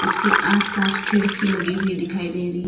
इसके आस पास खिड़की लगी हुई दिखाई दे रही --